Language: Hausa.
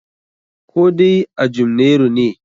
Koh dai a Jumnairu ne?